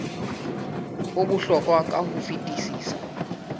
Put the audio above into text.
o bohlokwa ka ho fetisisa